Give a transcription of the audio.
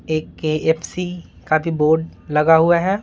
एक केफसी का भी बोर्ड लगा हुआ है।